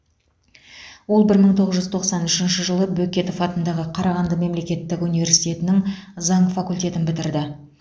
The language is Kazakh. ол бір мың тоғыз жүз тоқсан үшінші жылы бөкетов атындағы қарағанды мемлекеттік университетінің заң факультетін бітірді